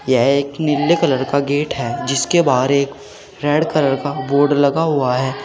यह एक नीले कलर का गेट है जिसके बाहर एक रेड कलर का बोर्ड लगा हुआ है।